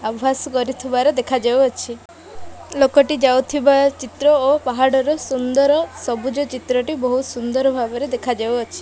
ଅଭ୍ୟାସ କରୁଥିବାର ଦେଖା ଯାଉଅଛି। ଲୋକଟି ଯାଉଥିବା ଚିତ୍ର ଓ ପାହାଡ଼ର ସୁନ୍ଦର୍ ସବୁଜ ଚିତ୍ରଟି ବୋହୁତ୍ ସୁନ୍ଦର ଭାବରେ ଦେଖା ଯାଉଅଛି।